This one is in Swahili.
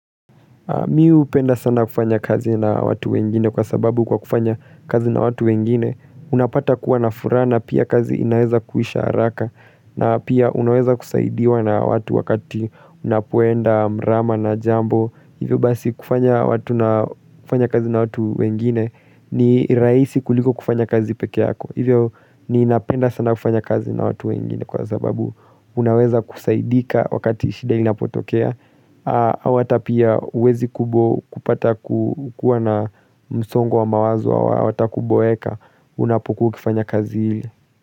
Mi upenda sana kufanya kazi na watu wengine kwa sababu kwa kufanya kazi na watu wengine unapata kuwa na furaha na pia kazi inaweza kuisha haraka na pia unaweza kusaidiwa na watu wakati unapoenda mrama na jambo. Hivyo basi kufanya kazi na watu wengine ni raisi kuliko kufanya kazi pekeyako Hivyo ni inapenda sana kufanya kazi na watu wengine kwa sababu Unaweza kusaidika wakati shida inapotokea au hata pia uwezi kupata kukua na msongo wa mawazo au hata kuboeka Unapokuwa ukifanya kazi hile.